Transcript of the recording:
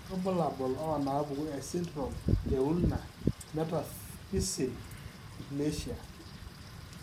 Kainyio irbulabul onaapuku esindirom eUlna metaphyseal dysplasia?